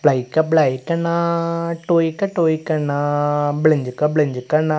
ബ്ലൈക്കാ ബ്ലൈക്കാ ണ ടോയിക്ക ടോയ്ക്കാ ണ ബ്ലിഞ്ചിക ബ്ലിഞ്ചിക ണ--